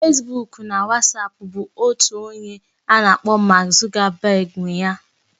Fesbuk na Wasapu bụ otu onye a na-akpọ Mark Zuckerberg nwe ya